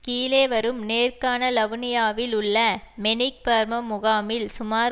கீழே வரும் நேர்காணல் அவுனியாவில் உள்ள மெனிக்பர்மம் முகாமில் சுமார்